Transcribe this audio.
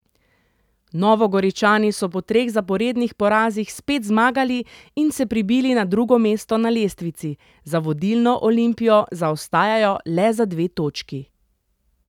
Novogoričani so po treh zaporednih porazih spet zmagali in se prebili na drugo mesto na lestvici, za vodilno Olimpijo zaostajajo le za dve točki.